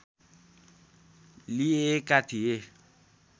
लिेएका थिए